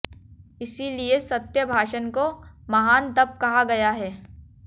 इसीलिए सत्य भाषण को महान तप कहा गया है